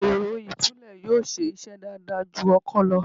Èrọ ìtúlẹ̀ yóò ṣe iṣẹ́ dáadáa ju ọkọ́ lọ.